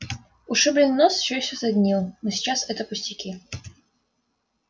ушибленный нос всё ещё саднил но сейчас это пустяки